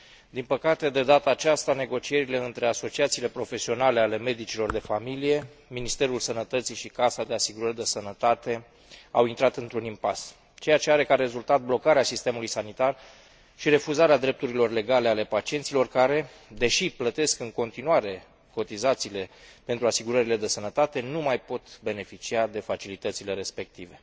Din păcate, de data aceasta, negocierile dintre asociațiile profesionale ale medicilor de familie, Ministerul Sănătății și Casa de Asigurări de Sănătate au intrat într un impas, ceea ce are ca rezultat blocarea sistemului sanitar și refuzarea drepturilor legale ale pacienților care, deși plătesc în continuare cotizațiile pentru asigurările de sănătate, nu mai pot beneficia de facilitățile respective.